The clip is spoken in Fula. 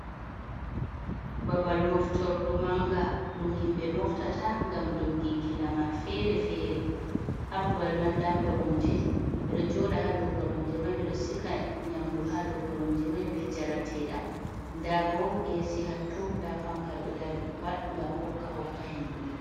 Babal moftorɗu manga ɗum himbe moftata ngam ɗogginki lamar fere-fere. Ha babal man ɗa koromje. Beɗo joɗa ha ɗow koromje mai. Be ɗo siga nyamɗu ha ɗow koromje mai be jarateɗam. Nɗa bo esi hatto ɗa fanka ɗo ɗari. Pat ngam bokka hokka henɗu.